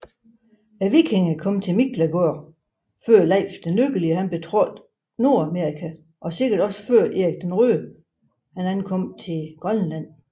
Vikingerne kom til Miklagård før Leif den Lykkelige betrådte Nordamerika og sikkert også før Erik den Røde ankom til Grønland